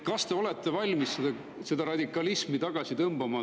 Kas te olete valmis seda radikalismi tagasi tõmbama?